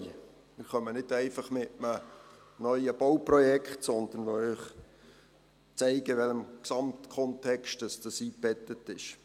Wir kommen nicht einfach mit einem neuen Bauprojekt, sondern wollen Ihnen zeigen, in welchem Gesamtkontext ein solches einbettet ist.